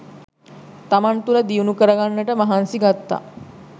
තමන් තුළ දියුණු කරගන්නට මහන්සි ගත්තා